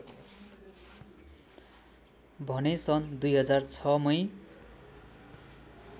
भने सन् २००६ मै